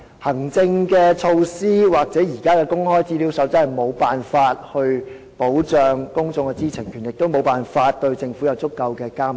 行政措施或現時的《公開資料守則》無法保障公眾知情權，也無法對政府實施足夠的監督。